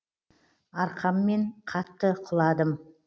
арқаммен қатты құладым